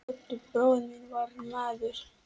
Oddur bróðir minn var maður.